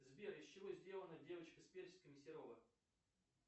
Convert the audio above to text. сбер из чего сделана девочка с персиками серова